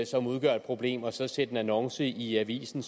som udgør et problem og så sætte en annonce i avisen